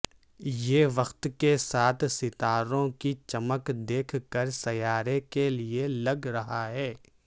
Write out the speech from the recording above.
یہ وقت کے ساتھ ستاروں کی چمک دیکھ کر سیارے کے لئے لگ رہا ہے